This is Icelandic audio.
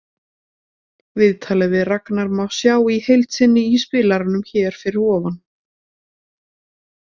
Viðtalið við Ragnar má sjá í heild sinni í spilaranum hér fyrir ofan.